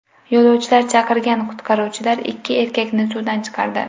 Yo‘lovchilar chaqirgan qutqaruvchilar ikki erkakni suvdan chiqardi.